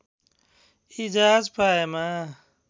यी जहाज पाएमा